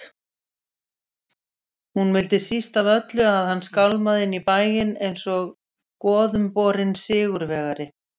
Hún vildi síst af öllu að hann skálmaði inn í bæinn einsog goðumborinn sigurvegari.